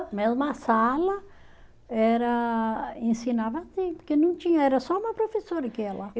Mesma sala, era, ensinava assim, porque não tinha, era só uma professora que ia lá.